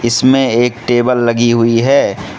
इसमें एक टेबल लगी हुई है।